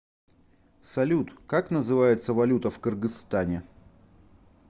салют как называется валюта в кыргызстане